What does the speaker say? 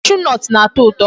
Cashew nut na-atọ ụtọ.